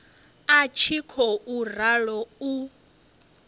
i tshi khou ralo u